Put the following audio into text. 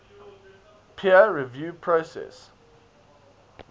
peer review process